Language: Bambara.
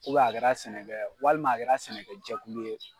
U bɛ a kɛra sɛnɛkɛ walima a kɛra sɛnɛkɛjɛkulu ye